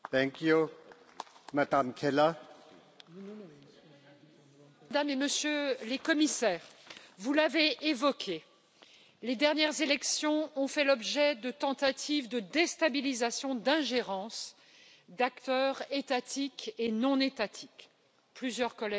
Monsieur le Président, Mesdames et Messieurs les Commissaires, vous l'avez évoqué les dernières élections ont fait l'objet de tentatives de déstabilisation, d'ingérence d'acteurs étatiques et non étatiques plusieurs collègues en ont parlé